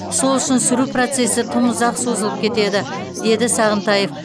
сол үшін сүру процесі тым ұзаққа созылып кетеді деді сағынтаев